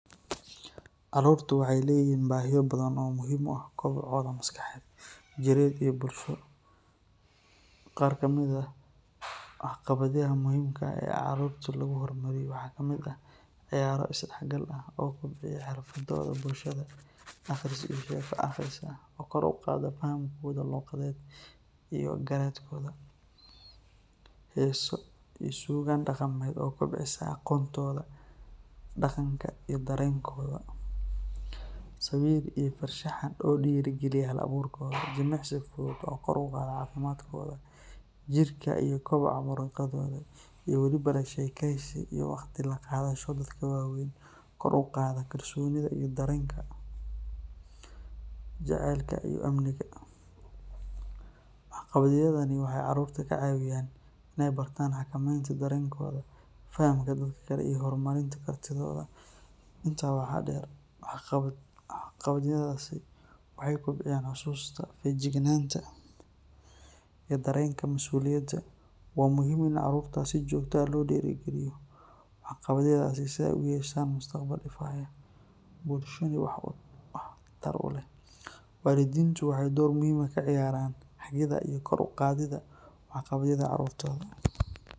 Carruurta waxeey leeyihiin bahiya badan oo kobcinta jireed ee bulsho, qaar kamid ah wax qabad yaha oo muhiimka oo lagu hor maro waxaa kamid ah, ciyaaro is dex gal ah, aqris oo kor uqaado fahamkooda iyo garaadkooda, heesa iyo suugan daqameed oo kobcisa daqankooda, jimicsi fudud oo kor uqaado cafimaadkooda, wax qabad yahan waxaay caruurta ka cawiyaan inaay bartaan xakameentaya dareenkood, waa muhiim caruurta in si joogta ah loo diiri galiyo.